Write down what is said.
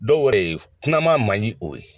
Dɔw yɛrɛ ye kunnama man ɲi o ye